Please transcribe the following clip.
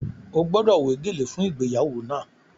Ó gbọ́dọ̀ wé gèlè fún ìgbéyàwó náà!